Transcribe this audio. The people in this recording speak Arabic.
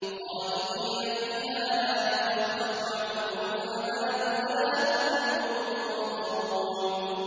خَالِدِينَ فِيهَا ۖ لَا يُخَفَّفُ عَنْهُمُ الْعَذَابُ وَلَا هُمْ يُنظَرُونَ